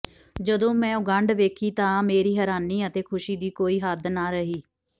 ਜਦੋਂ ਮੈਂ ਉਹ ਗੰਢ ਵੇਖੀ ਤਾਂ ਮੇਰੀ ਹੈਰਾਨੀ ਅਤੇ ਖੁਸ਼ੀ ਦੀ ਕੋਈ ਹੱਦ ਨ ਰਹੀ